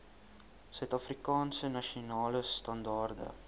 suidafrikaanse nasionale standaarde